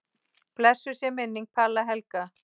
Blessuð sé minning Palla Helga.